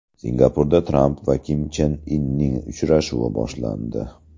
Singapurda Tramp va Kim Chen Inning uchrashuvi boshlandi.